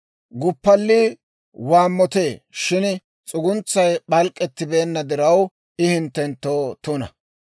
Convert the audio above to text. Guppallii waammotee shin s'uguntsay p'alk'k'etibeenna diraw I hinttenttoo tuna.